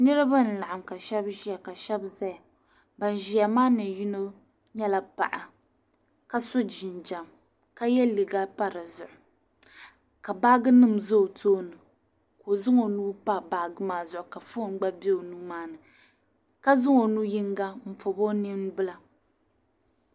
Niriba n-laɣim ka shɛba ʒiya ka shɛba zaya ban ʒiya maa ni yino nyɛla paɣa ka so jinjam ka ye liiga m-pa di zuɣu ka baajinima pa o tooni ka o zaŋ o nuu m-pa baaji maa zuɣu ka fon be o nuuni ka zaŋ o nu' yiŋga m-pɔbi o nimbila